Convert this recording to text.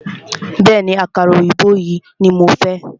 Bẹ̀ẹ́ni, àkàrà òyìnbó yìí ní mo fẹ́.